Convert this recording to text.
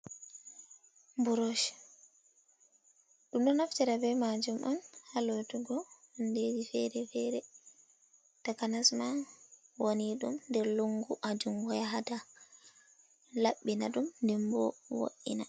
Buroche, ɗum ɗo naftira be majum on ha lotugo hundeji fere fere takhanas ma woni ɗum nder lungu hajungo ya hata, laɓɓina ɗum dembo vo’ina.